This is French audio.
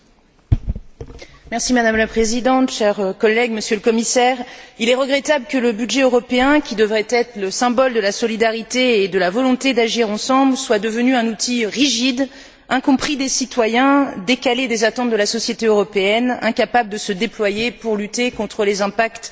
Madame la Présidente, chers collègues, Monsieur le Commissaire, il est regrettable que le budget européen qui devrait être le symbole de la solidarité et de la volonté d'agir ensemble soit devenu un outil rigide, incompris des citoyens, décalé des attentes de la société européenne, incapable de se déployer pour lutter contre les impacts sociaux de la crise.